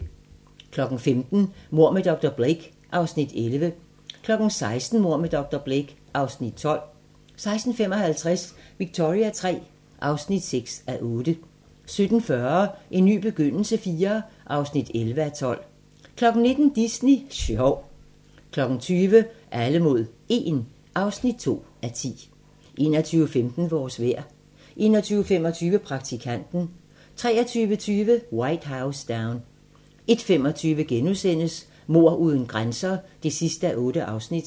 15:00: Mord med dr. Blake (Afs. 11) 16:00: Mord med dr. Blake (Afs. 12) 16:55: Victoria III (6:8) 17:40: En ny begyndelse IV (11:12) 19:00: Disney sjov 20:00: Alle mod 1 (2:10) 21:15: Vores vejr 21:25: Praktikanten 23:20: White House Down 01:25: Mord uden grænser (8:8)*